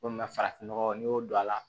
Komi farafinnɔgɔ n'i y'o don a la